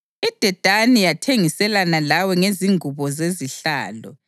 IDedani yathengiselana lawe ngezingubo zezihlalo.